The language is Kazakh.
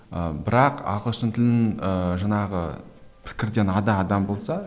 ыыы бірақ ағылшын тілін ііі жаңағы пікірден ада адам болса